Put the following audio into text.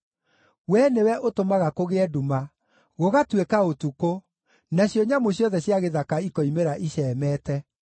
Wee nĩwe ũtũmaga kũgĩe nduma, gũgatuĩka ũtukũ, nacio nyamũ ciothe cia gĩthaka ikoimĩra icemeete.